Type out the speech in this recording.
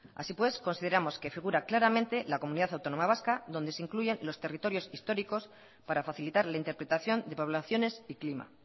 así pues consideramos que figura claramente la comunidad autónoma vasca donde se incluye los territorios históricos para facilitar la interpretación de poblaciones y clima